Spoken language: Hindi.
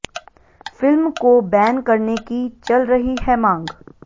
फिल्म को बैन करने की चल रही है मांग